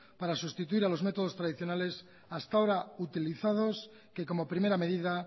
para sustituir a los métodos tradicionales hasta ahora utilizados que como primera medida